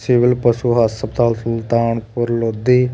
civil ਪਸ਼ੂ ਹਸਪਤਾਲ ਸੁਲਤਾਨਪੁਰ ਲੋਧੀ --